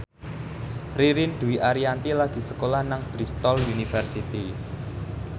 Ririn Dwi Ariyanti lagi sekolah nang Bristol university